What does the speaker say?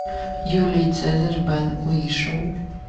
юлий цезарь бен уишоу